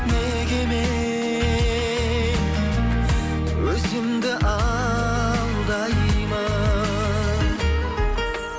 неге мен өзімді алдаймын